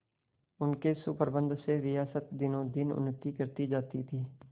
उनके सुप्रबंध से रियासत दिनोंदिन उन्नति करती जाती थी